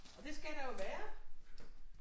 Og det skal der jo være